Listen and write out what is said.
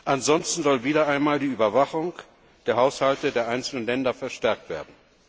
Ansonsten soll wieder einmal die Überwachung der Haushalte der einzelnen Länder verstärkt werden.